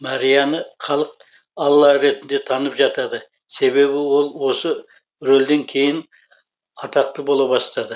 марияны халық алла ретінде танып жатады себебі ол осы рөлден кейін атақты бола бастады